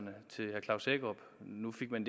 men